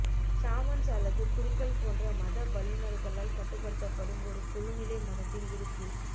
shamans அல்லது குருக்கள் போன்ற மத வல்லுநர்களால் கட்டுப்படுத்தப்படும் ஒரு குழுநிலை மதத்தின் இருப்பு